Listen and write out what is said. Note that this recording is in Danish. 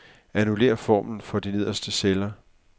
Annullér formlen for de nederste celler.